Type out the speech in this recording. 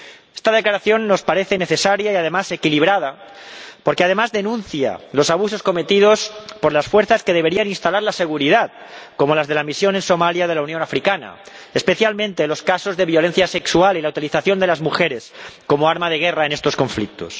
Esta declaración nos parece necesaria y además equilibrada, porque además denuncia los abusos cometidos por las fuerzas que deberían instalar la seguridad, como las de la Misión de la Unión Africana en Somalia, especialmente los casos de violencia sexual y la utilización de las mujeres como arma de guerra en estos conflictos.